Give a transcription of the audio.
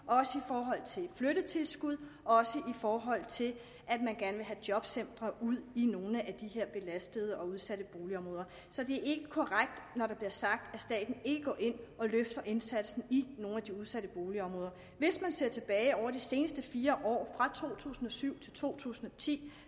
til flyttetilskud og også i forhold til at man gerne vil have jobcentre ud i nogle af de her belastede og udsatte boligområder så det er ikke korrekt når der bliver sagt at staten ikke går ind og løfter indsatsen i nogle af de udsatte boligområder hvis man ser tilbage over de seneste fire år fra to tusind og syv til to tusind og ti